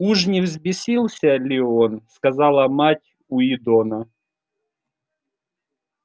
уж не взбесился ли он сказала мать уидона